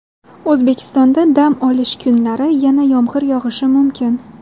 O‘zbekistonda dam olish kunlari yana yomg‘ir yog‘ishi mumkin.